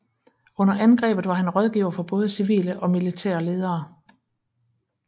Under angrebet var han rådgiver for både civile og militære ledere